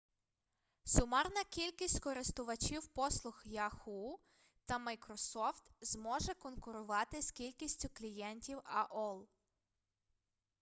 сумарна кількість користувачів послуг яху та майкрософт зможе конкурувати з кількістю клієнтів аол